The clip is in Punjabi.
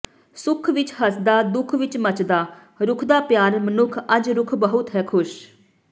ਸੁੱਖ ਵਿਚ ਹੱਸਦਾ ਦੁੱਖ ਵਿਚ ਮੱਚਦਾ ਰੁੱਖ ਦਾ ਪਿਆਰ ਮਨੁੱਖ ਅੱਜ ਰੁੱਖ ਬਹੁਤ ਹੈ ਖ਼ੁਸ਼